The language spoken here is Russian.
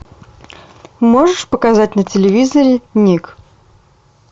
можешь показать на телевизоре ник